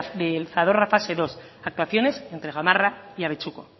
del zadorra fase segundo actuaciones entre gamarra y abetxuko